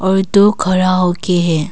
और दो खड़ा हो के है।